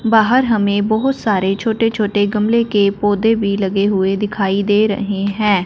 बाहर हमें बहुत सारे छोटे छोटे गमले के पौधे भी लगे हुए दिखाई दे रहे हैं।